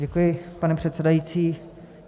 Děkuji, pane předsedající.